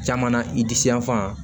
Caman na i disi yan fan